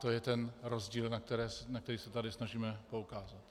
To je ten rozdíl, na který se tady snažíme poukázat.